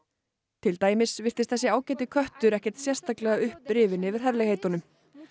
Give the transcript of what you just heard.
til dæmis virtist þessi ágæti köttur ekkert sérstaklega upprifinn yfir herlegheitunum